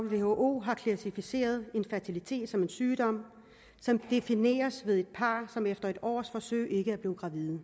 who har klassificeret infertilitet som en sygdom som defineres ved et par som efter et års forsøg ikke er blevet gravid